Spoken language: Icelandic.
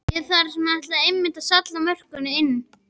Þar ætlaði hann einmitt að salla mörkunum inn!